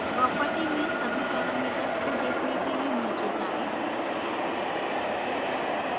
property में सभी parameters को देखने के लिए नीचे जाएँ